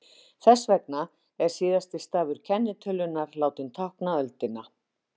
þess vegna er síðasti stafur kennitölunnar látinn tákna öldina